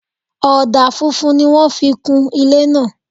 Ọ̀dà funfun ni wọ́n fi kun ilé náà